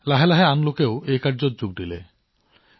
লাহে লাহে মানুহে ইয়াত যোগদান কৰিলে আৰু অৱদান আগবঢ়ালে